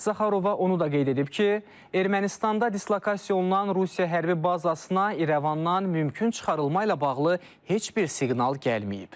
Zaxarova onu da qeyd edib ki, Ermənistanda dislokasiya olunan Rusiya hərbi bazasına İrəvandan mümkün çıxarılma ilə bağlı heç bir siqnal gəlməyib.